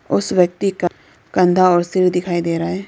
उस व्यक्ति का कंधा और सिर दिखाई दे रहा है।